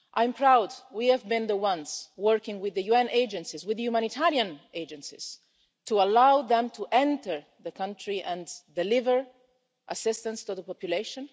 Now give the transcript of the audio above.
I'm proud we have been the ones working with the UN agencies, with the humanitarian agencies, to allow them to enter the country and deliver assistance to the population.